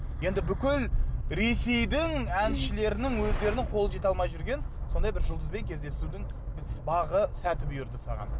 енді бүкіл ресейдің әншілерінің өздерінің қолы жете алмай жүрген сондай бір жұлдызбен кездесудің бағы сәті бұйырды саған